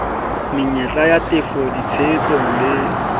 menyetla ya tefo ditshehetso le